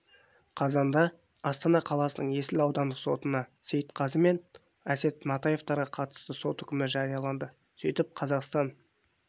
қазанда астана қаласының есіл аудандық сотында сейтқазы мен әсет матаевтарға қатысты сот үкімі жарияланды сөйтіп қазақстан